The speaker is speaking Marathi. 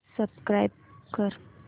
सबस्क्राईब कर